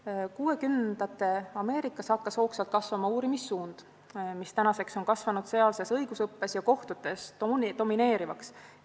1960-ndate Ameerikas hakkas hoogsalt arenema uurimissuund, mis tänaseks on sealses õigusõppes ja kohtutes domineerivaks muutunud.